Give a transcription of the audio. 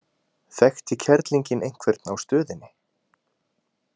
Þekkti kerlingin einhvern á stöðinni?